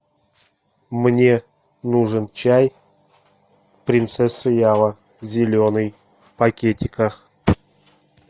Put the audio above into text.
мне нужен чай принцесса ява зеленый в пакетиках